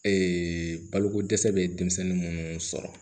Ee baloko dɛsɛ bɛ denmisɛnnin minnu sɔrɔ